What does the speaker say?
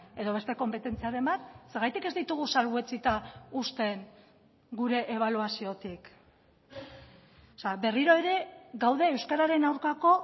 edo beste konpetentziaren bat zergatik ez ditugu salbuetsita uzten gure ebaluaziotik berriro ere gaude euskararen aurkako